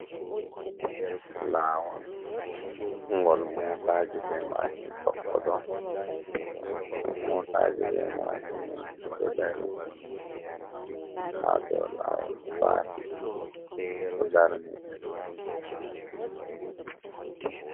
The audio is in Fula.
lawol ngol mota ji be mashin tokkoto, mota ji be mashin bedo darin hado lawol trafic o darni be